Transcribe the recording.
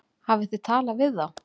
Hafið þið talað við þá?